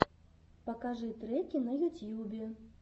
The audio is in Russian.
покажи треки на ютьюбе